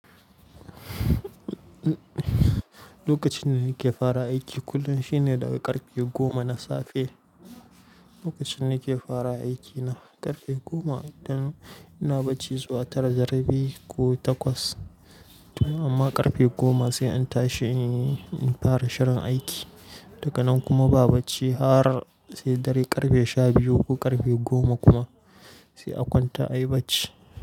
Lokacin da nake fara aiki kullum shine daga ƙarfe goma na safe. Lokacin nake fara aiki na ƙarfe goma, idan ina bacci zuwa tara da rabi ko takwas. Amma ƙarfe goma sai an tashi in fara shirin aiki. Daga nan kuma ba bacci har sai dare ƙarfe sha biyu ko ƙarfe goma kuma sai a kwanta a yi bacci.